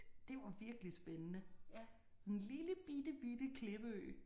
Det var virkelig spændende. En lille bitte bitte klippeø